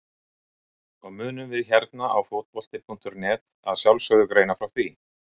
Og munum við hérna á Fótbolti.net að sjálfsögðu greina frá því!